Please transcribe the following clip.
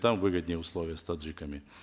там выгоднее условия с таджиками